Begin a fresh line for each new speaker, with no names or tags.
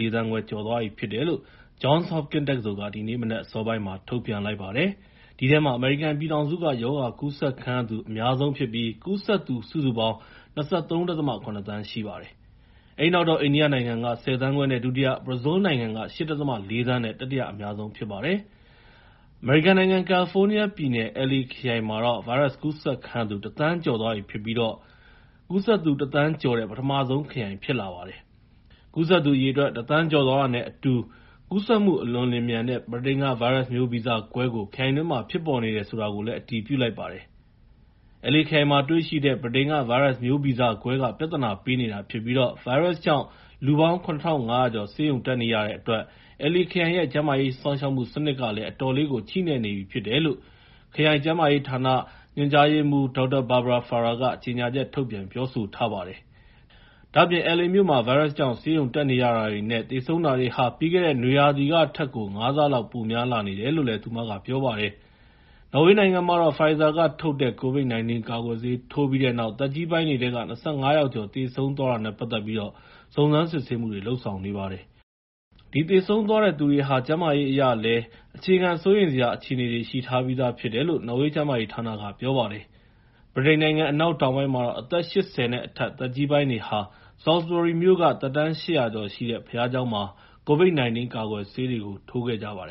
၄ သန်းခွဲ ကျော်သွားပြီဖြစ်တယ်လို့ Johns Hopkins တက္ကသိုလ်က ဒီနေ့မနက်အစောပိုင်းမှာ ထုတ်ပြန်လိုက်ပါတယ်။ အဲဒီထဲမှာ အမေရိကန်ပြည်ထောင်စုက ရောဂါကူးစက်ခံရသူ အများဆုံးဖြစ်ပြီး ကူးစက်သူ စုစုပေါင်း ၂၃.၇ သန်းရှိပါတယ်။ အဲဒီနောက်တော့ အိန္ဒိယနိုင်ငံက ၁၀ သန်းခွဲနဲ့ ဒုတိယ၊ ဘရာဇီးလ်နိုင်ငံက ၈.၄ သန်းနဲ့ တတိယအများဆုံး ဖြစ်ပါတယ်။ အမေရိကန်နိုင်ငံ ကယ်လီဖိုးနီးယားပြည်နယ် LA ခရိုင်မှာ ဗိုင်းရပ်စ်ကူးစက်ခံရသူ ၁ သန်းကျော်သွားပြီဖြစ်ပြီး အမေရိကန်မှာ ကူးစက်သူ ၁ သန်းကျော်တဲ့ ပထမဆုံးခရိုင် ဖြစ်လာခဲ့ပါတယ်။ ကူးစက်သူအရေအတွက် ၁ သန်းကျော်သွားတာနဲ့အတူ ကူးစက်မှု အလွန်လျှင်မြန်တဲ့ ဗြိတိန်က ဗိုင်းရပ်စ်မျိုးဗီဇကွဲကို ခရိုင်တွင်းမှာ ဖြစ်ပေါ်နေတယ် ဆိုတာကိုလည်း အတည်ပြုလိုက်ပါတယ်။ LA ခရိုင်မှာတွေ့ရှိတဲ့ ဗြိတိန်က ဗိုင်းရပ်စ်မျိုးဗီဇကွဲက ပြဿနာပေးနေတာဖြစ်ပြီး ဗိုင်းရပ်စ်ကြောင့် လူပေါင်း ၇,၅၀၀ ကျော် ဆေးရုံတက်နေရတဲ့အတွက် LA ခရိုင်ရဲ့ ကျန်းမာရေးစောင့်ရှောက်မှု စနစ်ကလည်း အတော်လေးကို ချည့်နဲ့နေပြီလို့ LA ခရိုင် ကျန်းမာရေးဌာန ညွှန်ကြားရေးမှူး ဒေါက်တာ Barbara Ferrer က ပြောပါတယ်။ ဒါ့အပြင် LA မြို့မှာ ဗိုင်းရပ်စ်ကြောင့် ဆေးရုံတက်ရတဲ့ သေဆုံးတာတွေဟာ ပြီးခဲ့တဲ့ နွေရာသီကထက်ကို ၅ ဆလောက် ပိုများလာနေတယ်လို့ သူမက ပြောပါတယ်။ နော်ဝေးနိုင်ငံမှာတော့ Pfizer ကထုတ်တဲ့ COVID-19 ကာကွယ်ဆေး ထိုးပြီးတဲ့နောက် သက်ကြီးပိုင်းတွေထဲ ၂၅ ယောက်ကျော် သေဆုံးသွားတာနဲ့ ပတ်သက်ပြီး စုံစမ်းစစ်ဆေးမှုတွေ လုပ်ဆောင်နေပါတယ်။ အဲဒီ သေဆုံးသွားတဲ့သူတွေဟာ ကျန်းမာရေးအရလည်း အခြေခံစိုးရိမ်စရာ အခြေအနေတွေ ရှိထားပြီးသားဖြစ်တယ်လို့ နော်ဝေးကျန်းမာရေးဌာနက ပြောပါတယ်။ ဗြိတိန်နိုင်ငံ အနောက်တောင်ပိုင်းမှာတော့ အသက် ၈၀ နဲ့အထက် သက်ကြီးပိုင်းတွေဟာ Salisbury မြို့က သက်တမ်း ၈၀၀ ကျော်ရှိတဲ့ ဘုရားကျောင်းမှာ COVID-19 ကာကွယ်ဆေးတွေ ထိုးခဲ့ကြပါတယ်